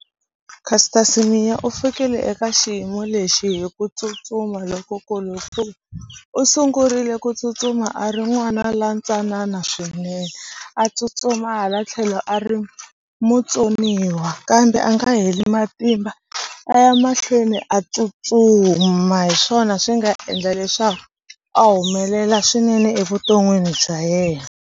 Caster semenya u fikile eka xiyimo lexi hi ku tsutsuma lokukulu hikuva u sungurile ku tsutsuma a ri n'wana la ntsanana swinene a tsutsuma hala tlhelo a ri mutsoniwa kambe a nga heli matimba a ya mahlweni a tsutsuma hi swona swi nga endla leswaku a humelela swinene evuton'wini bya yena.